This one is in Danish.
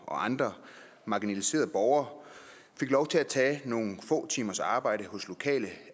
og andre marginaliserede borgere fik lov til at tage nogle få timers arbejde hos lokale